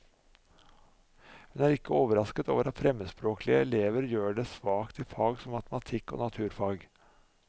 Hun er ikke overrasket over at fremmedspråklige elever gjør det svakt i fag som matematikk og naturfag.